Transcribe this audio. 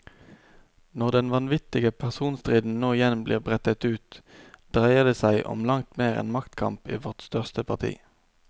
Når den vanvittige personstriden nå igjen blir brettet ut, dreier det som om langt mer enn maktkamp i vårt største parti.